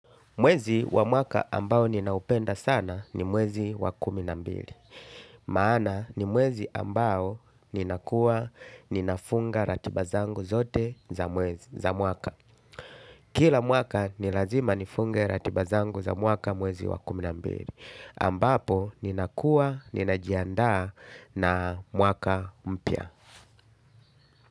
Mwezi wa mwaka ambao ninaupenda sana ni mwezi wa kuminambili. Maana ni mwezi ambao ninakuwa ninafunga ratiba zangu zote za mwaka. Kila mwaka nilazima nifunge ratiba zangu za mwaka mwezi wa kuminambili. Ambapo ninakuwa ninajiandaa na mwaka mpya.